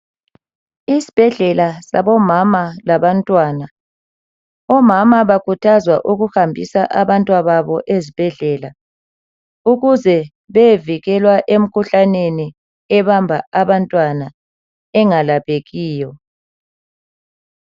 Isibhedlela sabo mama labantwana omama bakhuthazwa ukuhambisa abantwa babo ezibhedlela ukuze beyevikela emkhuhlaneni ebamba abantwana engalaphekiyo.